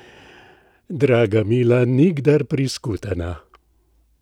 Draga, mila, nikdar priskutena!